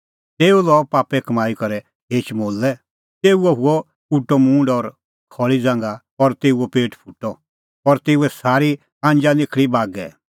तेऊ लअ पापे कमाई करै एक खेच मोलै तेऊओ हुअ उटअ मूंड और खल़ी ज़ांघा और तेऊओ पेट फुटअ और तेऊए सारी आंजा निखल़ी बागै